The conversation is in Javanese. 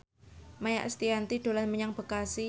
Maia Estianty dolan menyang Bekasi